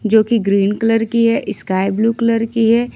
जोकि green colour की है इस्काई ब्लू कलर की है।